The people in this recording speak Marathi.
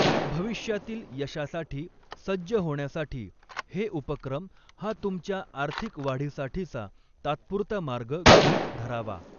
भविष्यातील यशासाठी सज्ज होण्यासाठी हे उपक्रम हा तुमच्या आर्थिक वाढीसाठीचा तात्पुरता मार्ग गृहित धरावा.